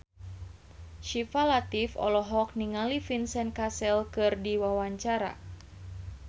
Syifa Latief olohok ningali Vincent Cassel keur diwawancara